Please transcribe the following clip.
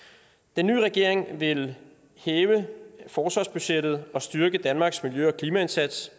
den nye regering vil hæve forsvarsbudgettet og styrke danmarks miljø og klimaindsats